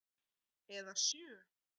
Eða sjö.